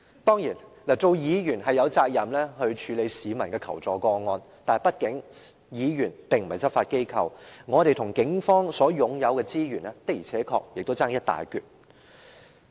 當然，身為議員，我們有責任處理市民的求助個案，但議員畢竟並非執法機構，我們與警方擁有的資源的確相差一大截。